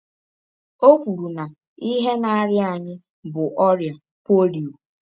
Ọ kwụrụ na ihe na - arịa anyị bụ ọrịa polio.